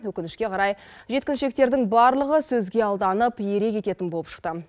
өкінішке қарай жеткіншектердің барлығы сөзге алданып ере кететін болып шықты